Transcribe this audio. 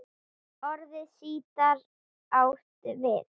Orðið sítar átt við